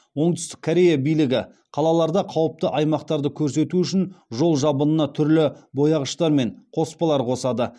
оңтүстік корея билігі қалаларда қауіпті аймақтарды көрсету үшін жол жабынына түрлі бояғыштар мен қоспалар қосады